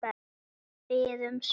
Við biðum spennt.